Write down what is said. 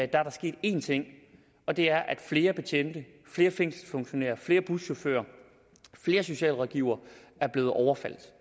der sket én ting og det er at flere betjente flere fængselsfunktionærer flere buschauffører og flere socialrådgivere er blevet overfaldet